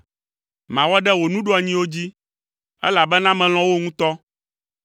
Mawɔ ɖe wò nuɖoanyiwo dzi, elabena melɔ̃ wo ŋutɔ.